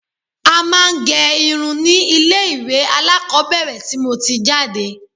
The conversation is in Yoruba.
A máa ń gẹ irun ni ilé ilé ìwé alákọ́bẹ̀rẹ̀ tí mo ti jáde